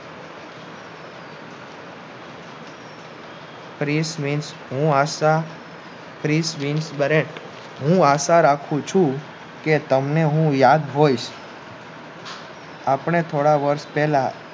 ત્રીશ હું હાકતા આ આશા રાખું છું કે તમને હું યાદ હોયસ આપણે થોડા વર્ષ પહેલા